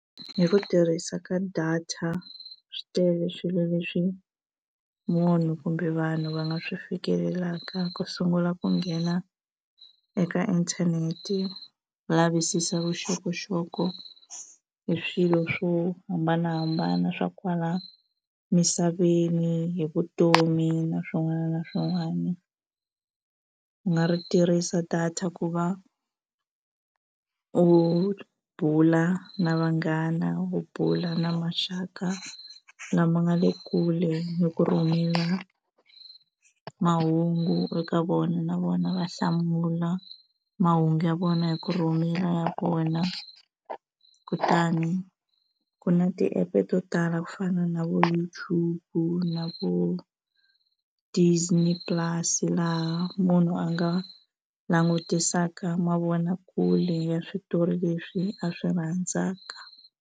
Hi ku tirhisa ka data swi tele swilo leswi munhu kumbe vanhu va nga swi fikelelaka ku sungula ku nghena eka inthanete va lavisisa vuxokoxoko hi swilo swo hambanahambana swa kwala misaveni hi vutomi na swin'wana na swin'wana u nga ri tirhisa data ku va u bula na vanghana u bula na maxaka lama nga le kule hi ku rhumela mahungu eka vona na vona va hlamula mahungu ya vona hi ku rhumela ya vona kutani ku na ti-app-e to tala ku fana na vo YouTube na vo Disney Plus laha munhu a nga langutisaka mavonakule ya switori leswi a swi rhandzaka.